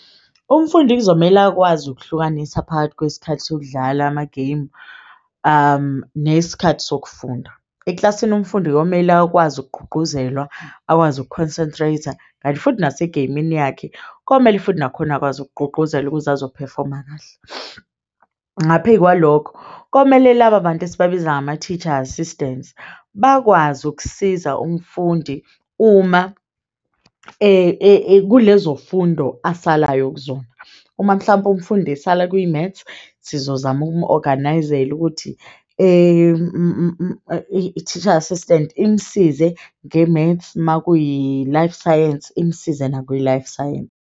Umfundi kuzomele akwazi ukuhlukanisa phakathi kwesikhathi sokudlala ama-game nesikhathi sokufunda. Eklasini umfundi komele akwazi ukugqugquzelwa akwazi uku-concentrate-a kanti futhi nasegeyimini yakhe komele futhi nakhona akwazi ukugqugquzelwa ukuze azo-perfom-a kahle. Ngaphey'kwalokho, komele laba bantu esibabiza ngama-teacher assistants bakwazi ukusiza umfundi uma kulezo fundo asalayo kuzona. Uma mhlawumpe umfundi, esala kwi-maths, sizozama uku-organise-ala ukuthi i-teacher assistant imsize nge-maths uma kuyi-life science, imsize nakwi-life science.